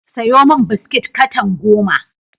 Sayo min biskit katan goma.